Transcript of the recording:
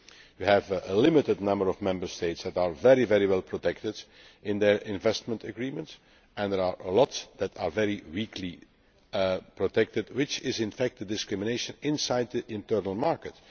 We have a limited number of Member States that are very well protected in their investment agreement and there are many others that have very weak protection which is, in fact, discrimination inside the internal market.